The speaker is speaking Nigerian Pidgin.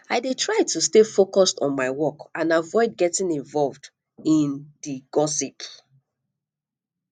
i dey try to stay focused on my work and avoid getting involve in di gossip